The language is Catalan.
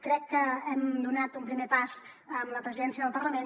crec que hem donat un primer pas amb la presidència del parlament